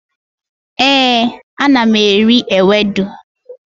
éè, ana m eri ewedu